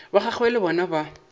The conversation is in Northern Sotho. ba gagwe le bona ba